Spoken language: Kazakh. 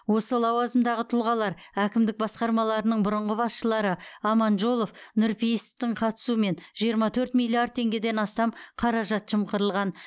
осы лауазымдағы тұлғалар әкімдік басқармаларының бұрынғы басшылары аманжолов нұрпейісовтың қатысуымен жиырма төрт миллиард теңгеден астам қаражат жымқырылған